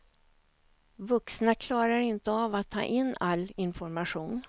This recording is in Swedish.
Vuxna klarar inte av att ta in all information.